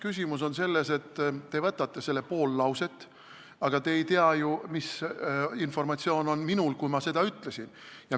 Küsimus on selles, et te võtate selle pool lauset, aga te ei tea ju, mis informatsioon oli minul, kui ma seda ütlesin.